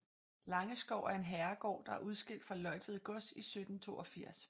Langeskov er en herregård der er udskilt fra Løjtved Gods i 1782